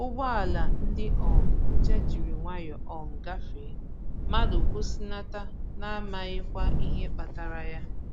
Ụgbọala ndi um nche jiri nwayọ um gafee, mmadụ kwụsịnata na amaghịkwa ihe kpatara ya